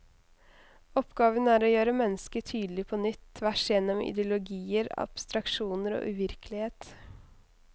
Oppgaven er å gjøre mennesket tydelig på nytt, tvers gjennom ideologier, abstraksjoner og uvirkelighet.